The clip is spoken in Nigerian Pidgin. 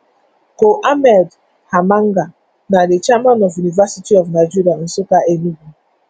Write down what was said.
col ahmed hammanga na di chairman of univeristy of nigeria nsukka enugu state